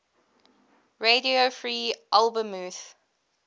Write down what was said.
radio free albemuth